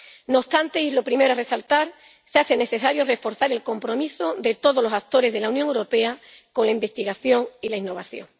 No obstante —y es lo primero que hay que resaltar—, se hace necesario reforzar el compromiso de todos los actores de la Unión Europea con la investigación y la innovación.